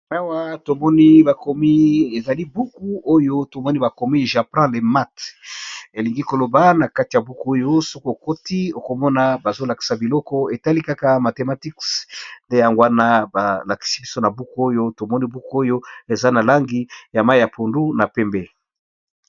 maomoniakomiezali buku oyo tomoni bakomi jappin le mat elingi koloba na kati ya buku oyo sokookoti okomona bazolakisa biloko etali kaka mathematike nde yangowana balakisi biso na buku oyo tomoni buku oyo eza na langi ya mai ya pundu na pembe